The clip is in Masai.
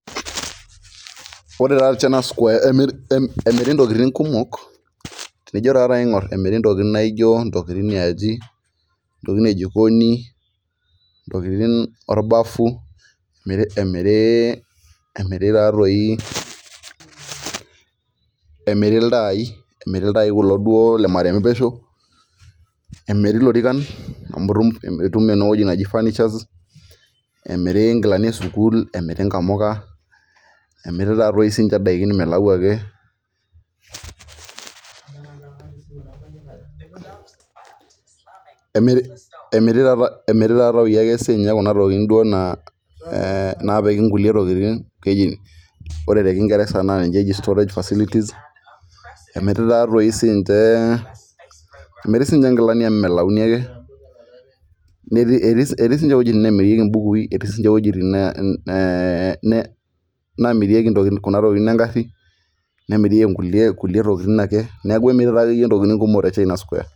Ore china square emiri ntokitin kumok, kajo naaji ore china square emiri, ntokitin naijo ntokitin yiaji, ntokitin ejikoni ntokitin, orbafu, emiri taa too emiri iltai kulo duo le marrmpeshi, emiri intokitin naijo furnitures emiri inamuka, emiri taa doi sii ninche idaikin milau akeemiri sii duo Kuna tokitin naa, ee naapiki nkulie tokitin keji, ore te kingerrsa naa ninche eji storage fertility emiri taa doi sii ninche nkilani, netii sii ninche wuejitin nemirieki mbukui. Etii wuejitin nemirieki Kuna tokitin egari, nemirieki nkulie tokitin ake, neeku emiri ntokitin kumok te china square.